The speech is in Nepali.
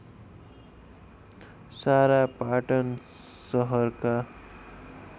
सारा पाटन सहरका